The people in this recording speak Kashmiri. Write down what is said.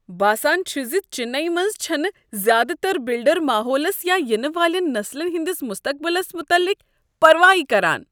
باسان چھ ز چنئی منٛز چھنہٕ زیٛادٕ تر بلڈر ماحولس یا ینہٕ والین نسلن ہنٛدس مستقبلس متعلق پروایہ کران۔